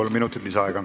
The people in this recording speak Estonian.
Kolm minutit lisaaega.